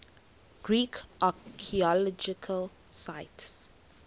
greek archaeological sites